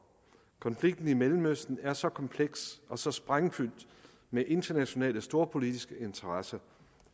konflikten i mellemøsten er så kompleks og så sprængfyldt med internationale storpolitiske interesser